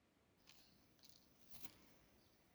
Sidee loo dhaxlaa dareenka neuropathy nooca kowaad?